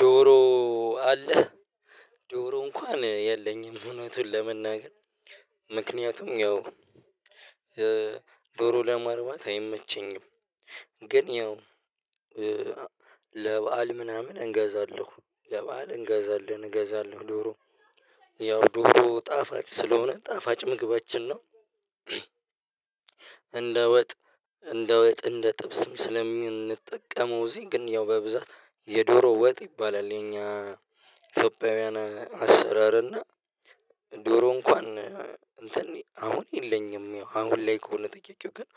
ዶሮ አለህ ዶሮ እንኳን የለኝም እውነቱን ለመናገር ምክንያቱም ያው ዶሮ ለማርባት አይመቸኝም። ግን ያው ለበአል ምናምን እንገዛለሁ ለበአል እንገዛለን እገዛለን ዶሮ ያው ዶሮ ጣፋጭ ስለሆነ ጣፋጭ ምግባችን ነው። እንደ ወጥ እንደ ወጥ እንደ ጥብስም ስለምንጠቀመው እዚህ ግን ያው በብዛት የዶሮ ወጥ ይባላል የኛ ኢትዮጵያውያን አሰራር እና። ዶሮ እንኳን እንትን አሁን የለኝም አሁን ላይ ከሆነ ጠያቄው ግን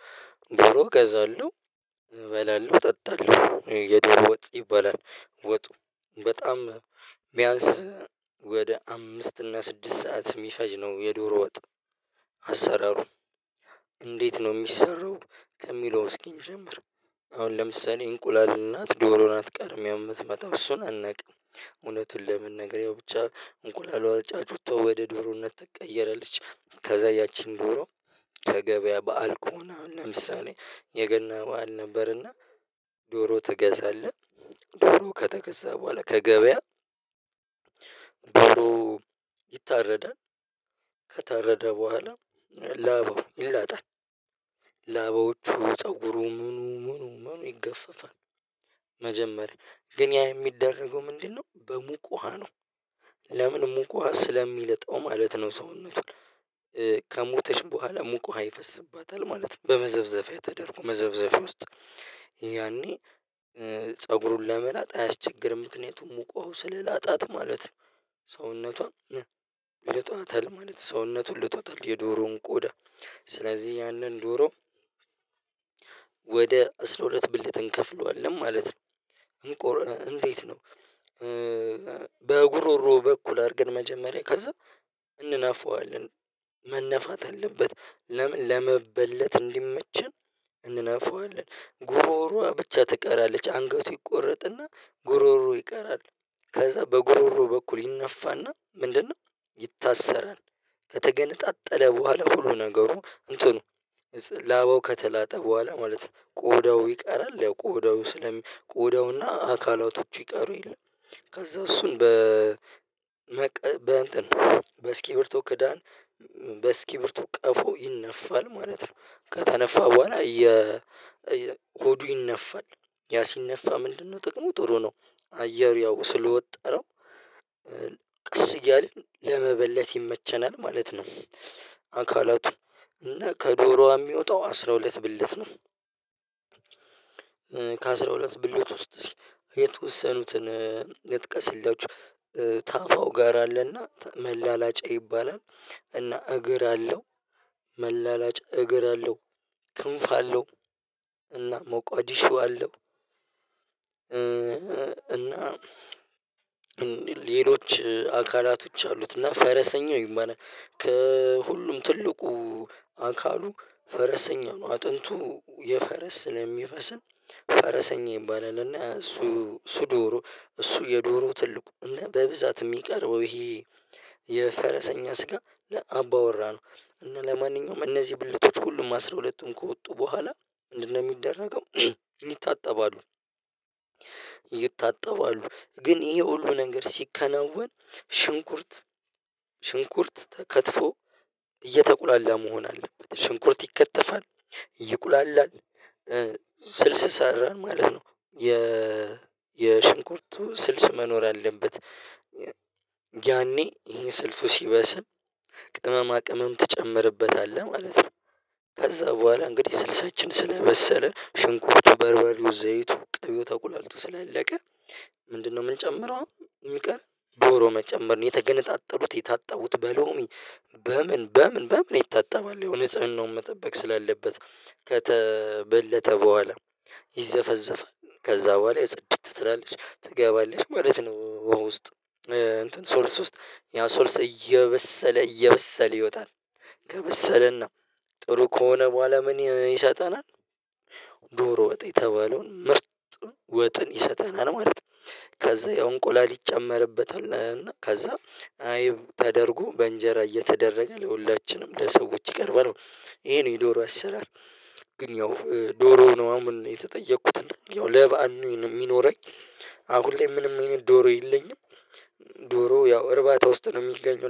ዶሮ እገዛለሁ። እበላለሁ ጠጣለሁ የዶሮ ወጥ ይባላል ወጡ በጣም ቢያንስ ወደ አምስት እና ስድስት ሰዓት የሚፈጅ ነው የዶሮ ወጥ አሰራሩ። እንዴት ነው? ሚሰራው ከሚለው እስኪ እንጀምር። አሁን ለምሳሌ እንቁላል ናት ዶሮ ናት ቀድማ የምትመጣው እሱን አናውቅም እውነቱን ለመናገር ያው ብቻ እንቁላሏ ጫጭቷ ወደ ዶሮነት ትቀየራለች። ከዛ ያቺን ዶሮ ከገበያ በዓል ከሆነ ለምሳሌ የገና በዓል ነበርና ዶሮ ትገዛለህ? ዶሮ ከተገዛ በኋላ ከገበያ ዶሮ ይታረዳል። ከታረደ በኋላ ላባው ይላጣል። ላባዎቹ ፀጉሩ ምኑ ምኑ ምኑ ይገፈፋል መጀመሪያ ግን ያ የሚደረገው ምንድነው? በሙቅ ውሃ ነው ለምን ሙቅ ውሃ ስለሚልጠው ማለት ነው። ሰውነቱን ከሞተች በኋላ ሙቅ ውሃ ይፈስባታል ማለት በመዘፍዘፊያ ተደርጎ መዘፍዘፊያ ውስጥ ያኔ ፀጉሩን ለመላጥ አያስቸግርም ምክንያቱም ሙቅ ዉሃው ስለላጣት ማለት ነው። ሰውነቷ ልጧታል ማለት ሰውነቱን ልጦታል የዶሮውን ቆዳ ስለዚህ ያንን ዶሮ ወደ አስራ ሁለት ብልት እንከፍለዋለን ማለት ነው። እንቁር እንዴት ነው? በጉሮሮ በኩል አድርገን መጀመሪያ ከዛ እንነፋዋለን መነፋት አለበት። ለምን ለመበለት እንዲመቸን? እንነፋዋለን ጉሮሮዋ ብቻ ትቀራለች አንገቱ ይቆረጥና ጉሮሮ ይቀራል። ከዛ በጉሮሮ በኩል ይነፋና ምንድነው? ይታሰራል ከተገነጣጠለ በኋላ ሁሉ ነገሩ እንትኑ ላባው ከተላጠ በኋላ ማለት ነው። ቆዳው ይቀራል ያው ቆዳው ስለሚ ቆዳውና አካላቶች ይቀሩ የለ ከዛ እሱን በመቅ በእንትን በእስኪርብቶ ክዳን በእስኪርቢቶ ቀፎ ይነፋል ማለት ነው። ከተነፋ በኋላ የ ሆዱ ይነፋል ያ ሲነፋ ምንድነው ጥቅሙ ጥሩ ነው አየር ያው ስለወጠረው ቀስ እያለ ለመበለት ይመቸናል ማለት ነው። አካላቱ እና ከዶሮዋ የሚወጣው አስራ ሁለት ብልት ነው። ከአስራ ሁለት ብልት ውስጥ እስኪ የተወሰኑትን ልጥቀስላቹ። ታፋው ጋር አለና መላላጫ ይባላል እና እግር አለው መላላጫ እግር አለው ክንፍ አለው እና መቋድሾ አለው። እና ሌሎች አካላቶች አሉት እና ፈረሰኛው ይባላል ከሁሉም ትልቁ አካሉ ፈረሰኛ ነው አጥንቱ የፈረስ ስለሚመስል ፈረሰኛ ይባላል። እና እሱ እሱ ዶሮ እሱ የዶሮ ትልቁ እና በብዛት ሚቀርበው ይሄ የፈረሰኛ ስጋ ለአባ ወራ ነው። እና ለማንኛውም እነዚህ ብልቶች ሁሉም አስራ ሁለቱን ከወጡ በኋላ ምንድነው ሚደረገው? ይታጠባሉ። ይታጠባሉ ግን ይሄ ሁሉ ነገር ሲከናወን ሽንኩርት ሽንኩርት ተከትፎ እየተቁላላ መሆን አለበት ሽንኩርት ይከተፋል ይቁላል ስልስ ሰራን ማለት ነው የ የሽንኩርቱ ስልስ መኖር አለበት። ያኔ ይሄን ስልሱ ሲበስን ቅመማ ቅመም ትጨምርበታለህ ማለት ነው። ከዛ በኋላ እንግዲህ ስልሳችን ስለበሰለ ሽንኩርቱ በርበርየው ዘይቱ ቅቤው ተቁላልቶ ስላለቀ ምንድነው የምንጨምረው? አሁን የሚቀረን ዶሮ መጨመር ነው የተገነጣጠሉት የታጠቡት በሎሚ በምን በምን በምን ይታጠባል ያው ንጽህናውን መጠበቅ ስላለበት ከተበለተ በኋላ ይዘፈዘፋል ከዛ በኋላ ጽድት ትላለች ትገባለች ማለት ነው። ዉሃ ውስጥ ስልስ ውስጥ ያ ሶልስ እየበሰለ እየበሰለ ይወጣል ከበሰለና ጥሩ ከሆነ በኋላ ምን ይሰጠናል? ዶሮ ወጥ የተባለውን ምርጥ ወጥን ይሰጠናል ማለት ነው። ከዛ ያው እንቁላል ይጨመርበታል እና ከዛ አይብ ተደርጎ በእንጀራ እየተደረገ ለሁላችንም ለሰዎች ይቀርባል። ይሄ ነው የዶሮ አሰራር። ግን ያው ዶሮ ነው አሁን የተጠየኩትና ለበአል ነው የሚኖረኝ። አሁን ላይ ምንም አይነት ዶሮ የለኝም። ዶሮ ያው እርባታ ውስጥ ነው የሚገኘው